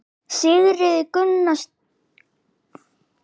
Sigríður Guðlaugsdóttir: Hvernig varð ykkur við?